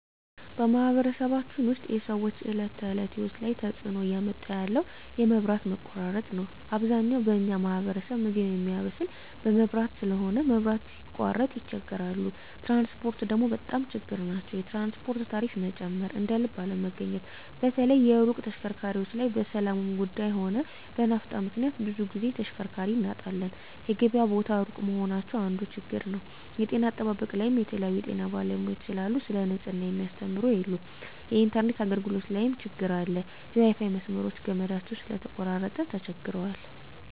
በማኅበረሰባችን ውስጥ የሰዎች የዕለት ተእለት ህይወት ላይ ትጽእኖ እያመጣ ያለው የመብት መቆራረጥ ነዉ አብዛኛው በኛ ማህበረሰብ ምግብ ሚያበስል በመብራት ስለሆነ መብራት ሲቃረጥ ይቸገራሉ ትራንስፖርት ደግሞ በጣም ችግር ናቸዉ የትራንስፖርት ታሪፋ መጨመር እደልብ አለመገኘት በተለይ የሩቅ ተሽከርካሪዎች ላይ በሠላሙም ጉዱይ ሆነ በናፍጣ ምክንያት ብዙ ግዜ ተሽከርካሪ እናጣለን የገበያ ቦታ እሩቅ መሆናቸው አንዱ ችግር ነዉ የጤና አጠባበቅ ላይም የተለያዩ የጤና ባለሙያዎች ስለሉ ሰለ ንጽሕና ሚያስተምሩ የሉም የኢንተርነት አገልግሎት ላይም ትግር አለ የዋይፋይ መስመሮች ገመዳቸው ስለተቆራረጠ ተቸግረዋል